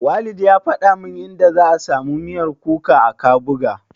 Walid ya faɗa min inda za'a samu miyar kuka a Kabuga.